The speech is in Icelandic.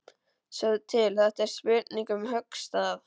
Sjáðu til, þetta er spurning um höggstað.